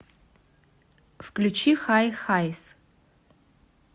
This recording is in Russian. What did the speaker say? включи хай хайс